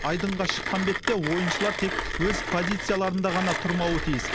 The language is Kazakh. айдынға шыққан бетте ойыншылар тек өз позицияларында ғана тұрмауы тиіс